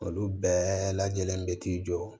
Olu bɛɛ lajɛlen bɛ t'i jɔ